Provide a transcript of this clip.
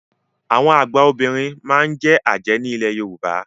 Àwọn àgba Obìnrin máa n je Aje ní ilẹ̀ Yorùbá.